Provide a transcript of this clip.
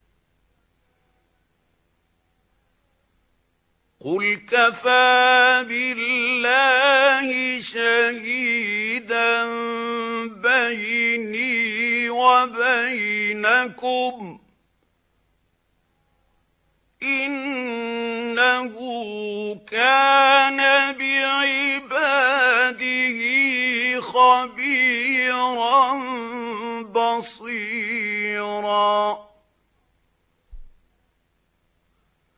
قُلْ كَفَىٰ بِاللَّهِ شَهِيدًا بَيْنِي وَبَيْنَكُمْ ۚ إِنَّهُ كَانَ بِعِبَادِهِ خَبِيرًا بَصِيرًا